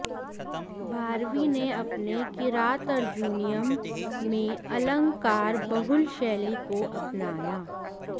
भारवि ने अपने किरातार्जुनीयम् में अलंकार बहुल शैली को अपनाया